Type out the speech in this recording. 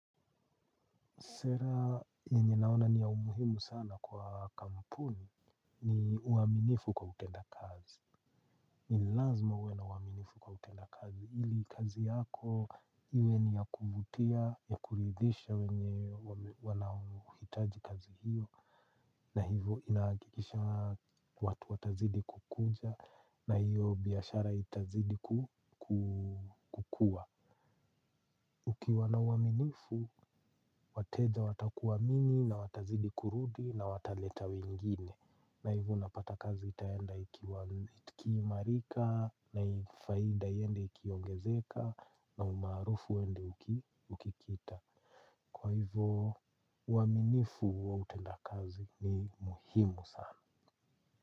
Sera yenye naona ni ya umuhimu sana kwa kampuni ni uaminifu kwa utenda kazi. Ni lazima uwe na uaminifu kwa utenda kazi. Hili kazi yako, iwe ni ya kuvutia, ya kulidhisha wenye wanaohitaji kazi hiyo. Na hivo inaakikisha watu watazidi kukuja na hiyo biashara itazidi kukua. Ukiwa na uaminifu, wateja watakuwamini na watazidi kurudi na wataleta wengine. Na hivu unapata kazi itaenda iki imarika na faida yende ikiongezeka na umaarufu wende ukikita. Kwa hivo, uaminifu wa utenda kazi ni muhimu sana.